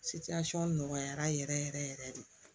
nɔgɔyara yɛrɛ yɛrɛ yɛrɛ de